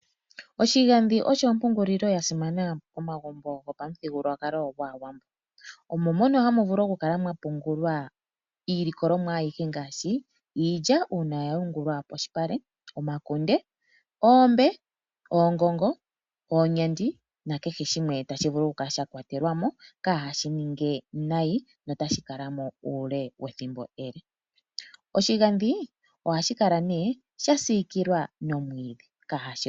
Oshigadhi osho ompungulilo yasimana momagumbo gopamuthigululwakalo gwaawambo, omo mono hamu vulu okukala mwapungulwa iilikolomwa ayihe ngaashi iilya uuna yayungulwa polupale, omakunde, oombe, oongongo, oonyandi nakehe shimwe tashi vulu okukala sha kwatelwa mo kaashi ninge nayi notashi kala mo uule wethimbo ele. Oshigadhi ohashi kala nee sha siikilwa nomwiidhi.